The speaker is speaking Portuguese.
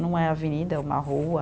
Não é avenida, é uma rua.